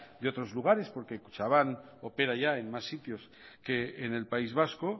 de otros lugares porque kutxabank opera ya en más sitios que en el país vasco